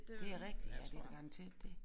Det er rigtigt ja det da garanteret det